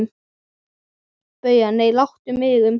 BAUJA: Nei, láttu mig um það.